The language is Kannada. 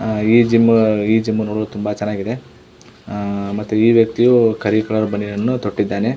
ಆ ಈ ಜಿಮ್ಮ ಜಿಮು ನೋಡಲು ತುಂಬಾ ಚೆನ್ನಾಗಿ ಇದೆ ಮತ್ತೆ ಈ ವ್ಯಕ್ತಿಯು ಕರಿ ಕಲರ್ ಬನಿಯನ್ ತೊಟ್ಟಿದಾನೆ.